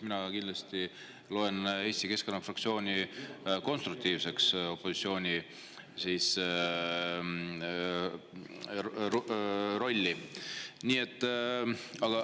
Mina kindlasti loen Eesti Keskerakonna fraktsiooni konstruktiivse opositsiooni rolli täitjaks.